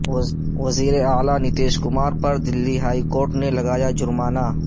وزیر اعلی نتیش کمار پر دلی ہائی کورٹ نے لگایا جرمانہ